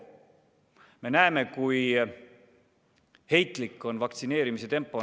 Me näeme, kui heitlik on vaktsineerimise tempo.